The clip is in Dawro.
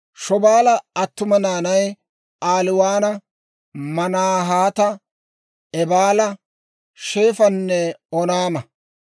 Shobaala attuma naanay Aaliwaana, Maanahaata, Eebaala, Shefanne Oonaama.